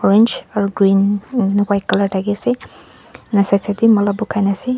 orange aru green umh white colour thaki ase ena side side te mala bukhai ne ase.